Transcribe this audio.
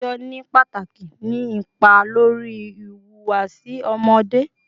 Titọjọ ni pataki ni ipa lori ihuwasi ọmọde